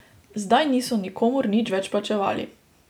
Zdaj niso nikomur nič več plačevali.